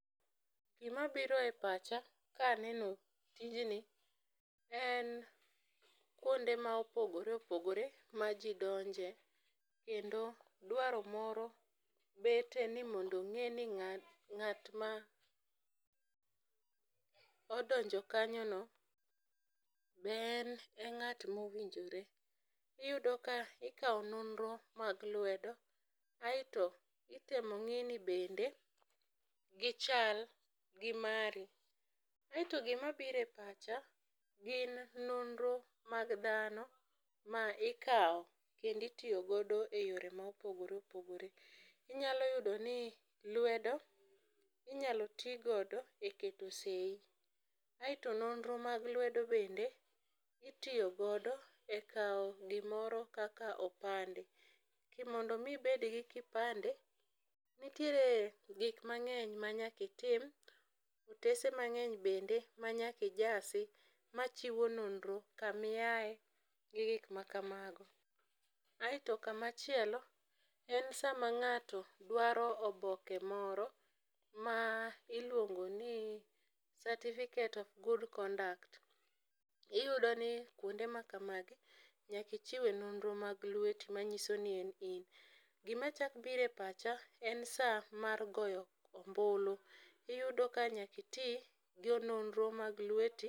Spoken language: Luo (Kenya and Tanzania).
Gima biro e pacha ka aneno tijni, en kwonde ma opogore opgore ma ji donje. Kendo dwaro moro bete ni mondo ong'e ni ng'a, ng'at ma odonjo kanyo no be en e ng'at ma owinjore. Iyudo ka ikawo nonro mag lwedo. Aeto itemo ng'i ni bende gichal gi mari. Aero gima biro e pacha gin nonro mag dhano, ma ikawo kendo itiyo godo e yoe ma opogore opogore. Inyalo yudo ni lwedo inyalo ti godo e keto seyi. Aeto nonro mag lwedo bende, itiyo godo e kawo gimoro kaka opande. Mondo omi ibed gi kipande, nitiere gik mang'eny ma nyaka itim. Otese mang'eny bende ma nyaka ijasi. Machiwo nonro kama iyae, gi gik ma kamago. Aeto sama chielo, en sama ng'ato dwaro oboke moro, ma iluongo ni certificate of good conduct. Iyudo ni kuonde ma kamagi nyaka ichiwe nonro mag lweti manyiso ni en in. Gima chak biro e pacha en sa mar goyo ombulu. Iyudo ka nyaka iti gi yo nonro mag lweti.